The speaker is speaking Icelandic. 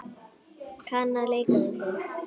Kann að leika við þig.